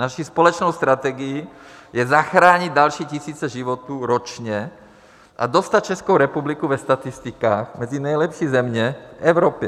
Naší společnou strategií je zachránit další tisíce životů ročně a dostat Českou republiku ve statistikách mezi nejlepší země v Evropě.